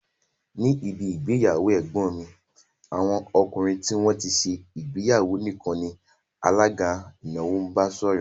Ní ibi ìgbéyàwó ẹ̀gbọ́n mi, àwọn ọkùnrin tí wón ti ṣe ìgbéyàwó nìkan ni alága ìnáwó bá sọ̀rọ̀